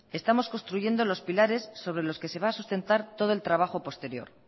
estamos construyendo los pilares sobre los que se va a sustentar todo el trabajo posterior